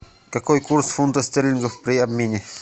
какой курс фунтов стерлингов при обмене